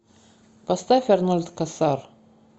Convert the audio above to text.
поставь арнольд касар